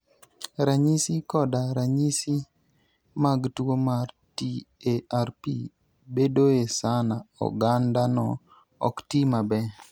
Ranyisi koda ranyisi mag tuwo mar TARP bedoe sama ogandano ok ti maber.